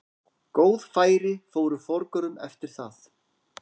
Góð færi fóru forgörðum eftir það.